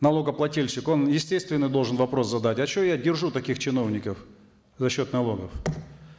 налогоплательщик он естественный должен вопрос задать а что я держу таких чиновников за счет налогов